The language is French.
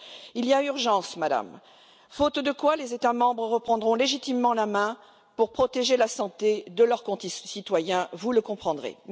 Il y a urgence, Madame, faute de quoi les États membres reprendront légitimement la main pour protéger la santé de leurs citoyens, vous le comprendrez.